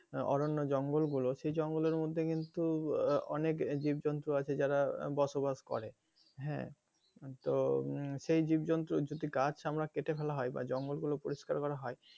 অরণ্য জঙ্গল গুলো সেই জঙ্গলের মধ্যে কিন্তু অনেক জীবজন্তু আছে যারা বসবাস করে হ্যাঁ তো সেই জীবজন্তুর যদি গাছ আমরা কেটে ফেলা হয় বা জঙ্গল গুলো পরিস্কার করা হয়,